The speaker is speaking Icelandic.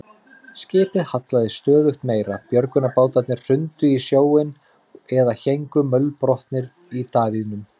Skipið hallaðist stöðugt meira, björgunarbátarnir hrundu í sjóinn eða héngu mölbrotnir í davíðunum.